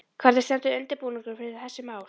Hvernig stendur undirbúningurinn fyrir þessi mál?